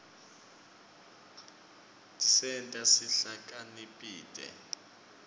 tisenta sihlakanipite